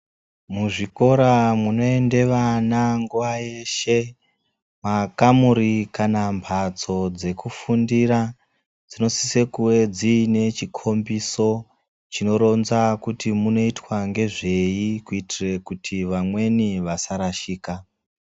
Muzvikora munoenda vana nguva yeshe mumakamuri kana mbatso dzekufundira dzinosisa kuve dzine chikombiso chinoronza kuti umwu munoitwa ngezvei kuitira kuti vamweni vasarashika.